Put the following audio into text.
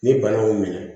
Ni bana y'o minɛ